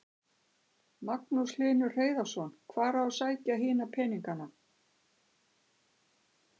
Magnús Hlynur Hreiðarsson: Hvar á að sækja hina peningana?